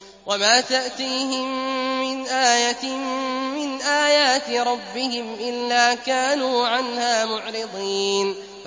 وَمَا تَأْتِيهِم مِّنْ آيَةٍ مِّنْ آيَاتِ رَبِّهِمْ إِلَّا كَانُوا عَنْهَا مُعْرِضِينَ